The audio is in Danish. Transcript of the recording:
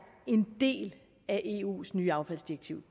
en del af eus nye affaldsdirektiv